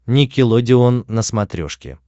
никелодеон на смотрешке